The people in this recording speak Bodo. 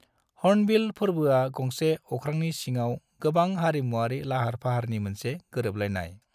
हॉर्नबिल फोरबोआ गंसे अख्रांनि सिङाव गोबां हारिमुआरि लाहार-फाहारनि मोनसे गोरोबलायनाय।